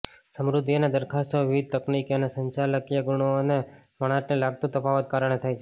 સમૃદ્ધિ અને દરખાસ્તો વિવિધ તકનિકી અને સંચાલકીય ગુણો અને વણાટને લગતું તફાવતો કારણે થાય છે